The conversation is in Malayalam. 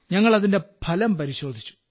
അങ്ങൾ അതിന്റെ ഫലം പരിശോധിച്ചു